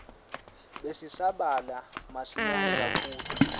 besisabalala masinyane kakhulu